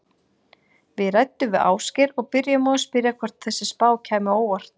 Við ræddum við Ásgeir og byrjuðum á að spyrja hvort þessi spá kæmi á óvart?